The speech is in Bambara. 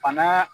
Bana